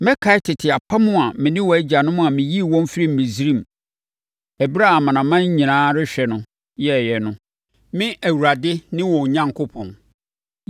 Mɛkae tete apam a me ne wɔn agyanom a meyii wɔn firii Misraim, ɛberɛ a amanaman nyinaa rehwɛ no, yɛeɛ no. Me Awurade ne wɔn Onyankopɔn.’ ”